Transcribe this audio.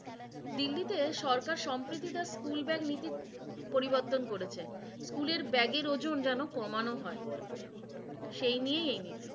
দিল্লিতে সরকার সম্প্রীতি তার স্কুলব্যাগ নীতি পরিবর্তন করেছে। স্কুলের ব্যাগের ওজন যেন কমানো হয়। সেই নিয়েই এই নীতি।